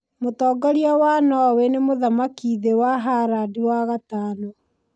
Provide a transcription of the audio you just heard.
Mũtongoria wa Norway nĩ Mũthamaki thĩ wa Harald wa gatano.